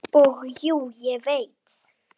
Og jú, ég veit.